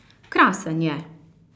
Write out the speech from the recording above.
Krasen je!